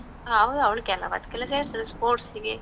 ಹೌದು, ಅವ್ಳ್ ಕೇಳೋವದಕ್ಕೆಲ್ಲ ಸೇರ್ತಳೆ sports ಗೆ.